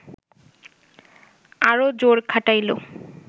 আরও জোর খাটাইল